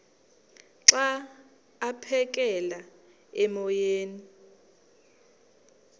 xa aphekela emoyeni